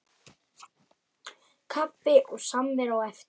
Kaffi og samvera á eftir.